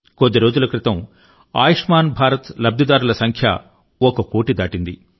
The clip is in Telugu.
కొద్ది రోజుల క్రితం ఆయుష్మాన్ భారత్ లబ్దిదారుల సంఖ్య ఒక కోటి దాటింది